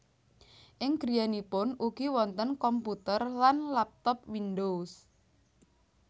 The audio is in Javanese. Ing griyanipun ugi wonten komputer lan laptop Windows